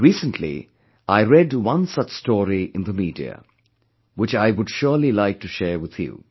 Recently, I read one such story in the media, which I would surely like to share with you